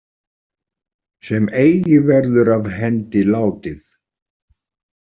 Sem eigi verður af hendi látið.